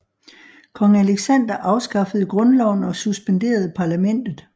Kong Aleksander afskaffede grundloven og suspenderede parlamentet